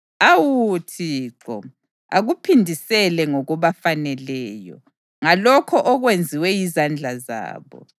Awu Thixo, akubaphindisele ngokubafaneleyo, ngalokho okwenziwe yizandla zabo.